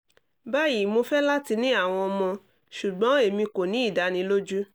bayi mo fẹ lati ni awọn ọmọ ṣugbọn emi ko ni idaniloju